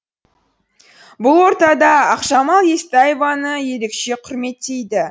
бұл ортада ақжамал естаеваны ерекше құрметтейді